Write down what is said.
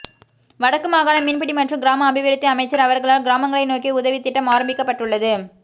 வடக்கு மாகாண மீன்பிடி மற்றும் கிராம அபிவிருத்தி அமைச்சர் அவர்களால் கிராமங்களை நோக்கிய உதவித்திட்டம் ஆரம்பிக்கப்பட்டுள்ளது